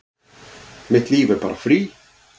Mitt líf er bara frí